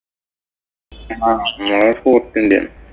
ആഹ് നമ്മടവിടെ ഇല്യ.